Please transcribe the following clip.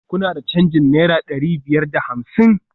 Kuna da canjin naira dari biyar da hamsin?